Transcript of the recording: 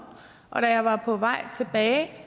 og da jeg var på vej tilbage